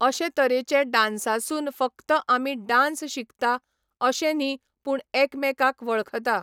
अशे तरेचे डान्सासून फक्त आमी डान्स शिकता अशें न्ही पूण एकामेकांक वळखता.